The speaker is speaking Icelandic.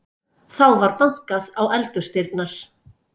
Þá var bankað á eldhúsdyrnar.